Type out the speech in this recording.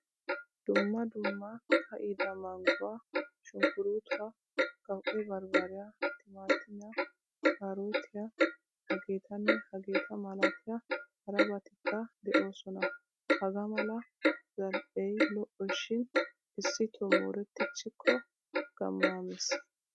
Dumma dumma ka'ida mangguwaa shunkkurutuwaa qawu;e barbariyaa, timatimiyaa, kaarotiyaa hegetane hegetta malatiya harabatikka deosona. Hagaa mala zal'e lo'o shin issito mooretichiko gamma mees.